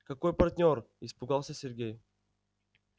какой партнёр испугался сергей